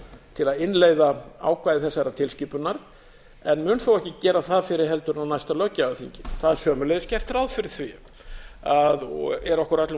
til að innleiða ákvæði þessarar tilskipunar en mun þó ekki gera það fyrr heldur en á næsta löggjafarþingi það er sömuleiðis gert ráð fyrir því og er okkur öllum